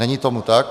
Není tomu tak.